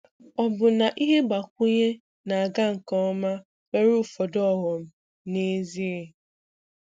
Ọbụna ihe mgbakwunye na-aga nke ọma nwere ụfọdụ ọghọm, n'ezie?